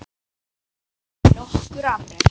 Nokkur afrek